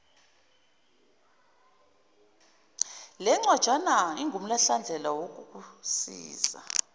lencwajana ingumhlahlandlela wokukusiza